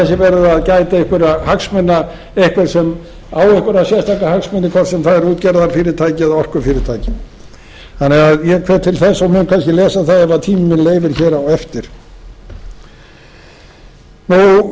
verið að gæta einhverra hagsmuna einhvers sem á einhverja sérstakra hagsmuna að gæta hvort sem það er útgerðarfyrirtæki eða orkufyrirtæki þannig að ég hvet til þess að menn kannski lesa það ef tíminn leyfir hér á eftir og